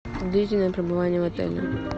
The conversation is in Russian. длительное пребывание в отеле